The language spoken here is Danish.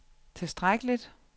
tilstrækkeligt